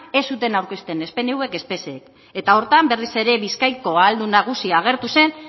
ez zuten aurkezten ez pnvk ez psek eta horretan berriz ere bizkaiko ahaldun nagusia agertu zen